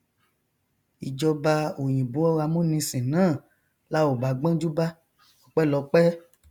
ìjọba òyìnbó amúnisìn náà la ò bá gbọnjú bá ọpẹlọpẹ